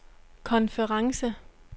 konference